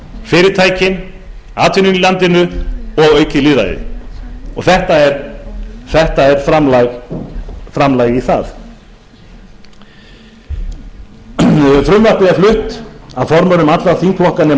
fyrirtækin atvinnuna í landinu og aukið lýðræði og þetta er framlag til þess frumvarpið er flutt af formönnum allra þingflokka nema